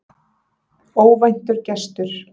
Óvæntur gestur